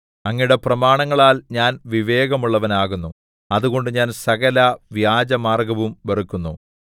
അങ്ങയുടെ പ്രമാണങ്ങളാൽ ഞാൻ വിവേകമുള്ളവനാകുന്നു അതുകൊണ്ട് ഞാൻ സകലവ്യാജമാർഗ്ഗവും വെറുക്കുന്നു നൂൻ